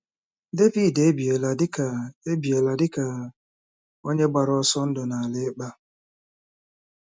Devid ebiela dị ka ebiela dị ka onye gbara ọsọ ndụ n’ala ịkpa.